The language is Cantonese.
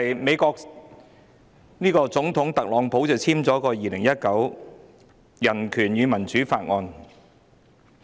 美國總統特朗普簽署了《香港人權與民主法案》。